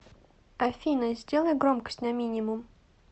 афина сделай громкость на минимум